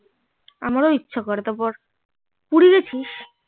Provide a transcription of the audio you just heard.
আমারও ইচ্ছা করে তারপর পুরি গেছিস